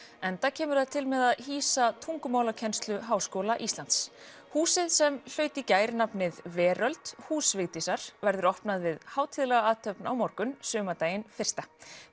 enda kemur það til með að hýsa tungumálakennslu Háskóla Íslands húsið sem hlaut í gær nafnið Veröld hús Vigdísar verður opnað við hátíðlega athöfn á morgun sumardaginn fyrsta